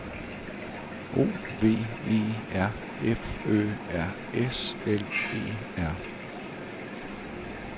O V E R F Ø R S L E R